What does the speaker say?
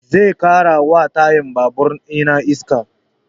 Zai ƙara wa tayan babur ina iska